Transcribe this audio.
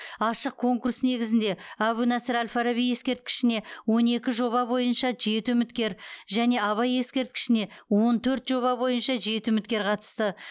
ашық конкурс негізінде әбу насыр әл фараби ескерткішіне он екі жоба бойынша жеті үміткер және абай ескерткішіне он төрт жоба бойынша жеті үміткер қатысты